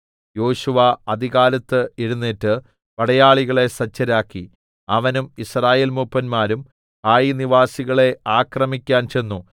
യോശുവ അതികാലത്ത് എഴുന്നേറ്റ് പടയാളികളെ സജ്ജരാക്കി അവനും യിസ്രായേൽ മൂപ്പന്മാരും ഹായി നിവാസികളെ ആക്രമിക്കാൻ ചെന്നു